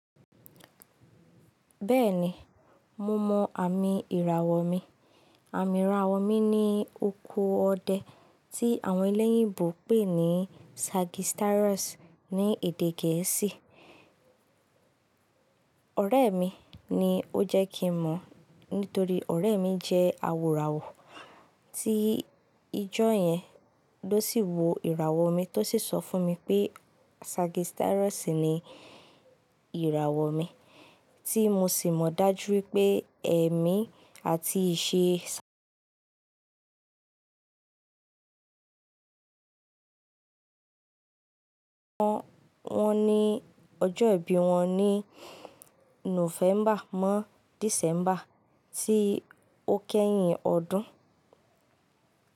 Bẹ́ẹ̀ni, mo mọ àmì ìràwọ̀ mi. Àmì ìràwọ̀ mi ni oko ọdẹ tí àwọn ẹlẹ́yìnbò pè ní Sagittarius ní èdè gẹ̀ẹ́sì. Ọ̀rẹ́ mi ni ó jẹ́ kí n mọ̀, nítorí ọ̀rẹ́ mi jẹ́ awòràwọ̀ tí ijó yẹn ló sì wo ìràwọ̀ mi tó sì sọ fún mi pé Sagittarius ni ìràwọ̀ mi, tí mo sì mọ dájú pé ẹ̀mí àti ìṣe ṣe ń wọ́n ní ọjọ́ ìbí wọn ní Nọ́fẹ́mbà mọ́ Dísẹ́mbà tí ó kẹ́yìn ọdún.